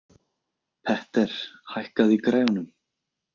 Petter, hækkaðu í græjunum.